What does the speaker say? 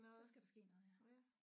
Så skal der ske noget ja